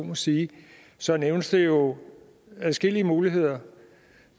må sige så nævnes der jo adskillige muligheder